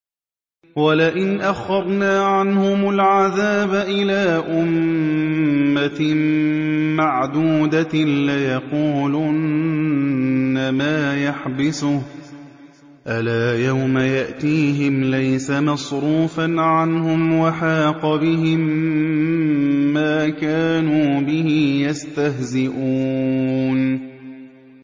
وَلَئِنْ أَخَّرْنَا عَنْهُمُ الْعَذَابَ إِلَىٰ أُمَّةٍ مَّعْدُودَةٍ لَّيَقُولُنَّ مَا يَحْبِسُهُ ۗ أَلَا يَوْمَ يَأْتِيهِمْ لَيْسَ مَصْرُوفًا عَنْهُمْ وَحَاقَ بِهِم مَّا كَانُوا بِهِ يَسْتَهْزِئُونَ